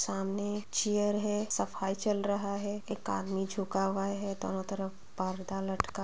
सामने एक चेयर है सफाई चल रहा है एक आदमी झुका हुआ है दोनों तरफ पर्दा लटका --